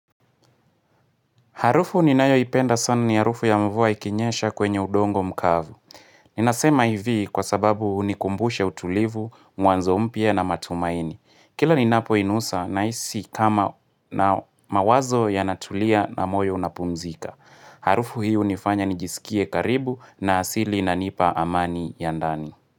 Harufu ninayoipenda sana ni harufu ya mvua ikinyesha kwenye udongo mkavu. Ninasema hivi kwa sababu hunikumbusha utulivu, mwanzo mpya na matumaini. Kila ninapo inusa nahisi kama na mawazo yanatulia na moyo unapumzika. Harufu hii hunifanya nijisikie karibu na asili inanipa amani ya ndani.